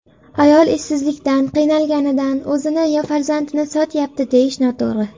Ayol ishsizlikdan, qiynalganidan o‘zini yo farzandini sotyapti, deyish noto‘g‘ri.